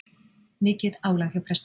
Mikið álag hjá prestum